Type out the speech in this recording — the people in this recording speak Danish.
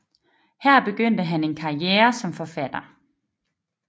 Her begyndte han en kariere som forfatter